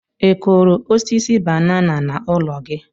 ị kụrụ osisi banana na ụlọ gi?